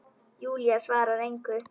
Júlía svarar engu.